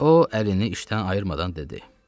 O əlini işdən ayırmadan dedi: